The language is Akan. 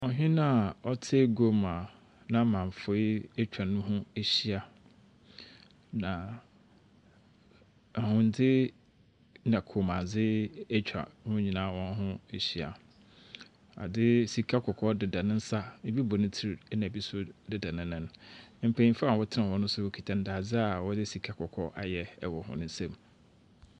Ɔhene a ɔtse aguam a n'amanfoe atwa ne ho ahyia, na ahwendze na kommuadze atwa wɔn nyinaa wɔn ho ehyia. Ade, Sika kɔkɔɔ deda ne nsa, ebi bɔ ne tsir, na ebi nso deda ne nan. Mpanyinfo a wɔtena hɔ no nso wɔkita ndadze a wɔdze sika kɔkɔɔ ayɛ wɔ hɔn nsam.